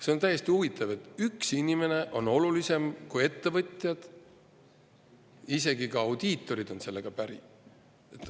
See on hästi huvitav, et üks inimene on olulisem kui ettevõtjad, isegi kui audiitorid on sellega päri.